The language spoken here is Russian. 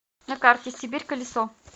на карте сибирь колесо